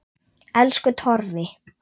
Elsku Torfi.